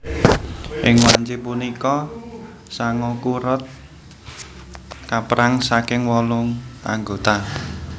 Ing wanci punika Sangoku Road kaperang saking wolu anggota